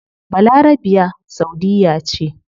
Balarabiya saudiyya ce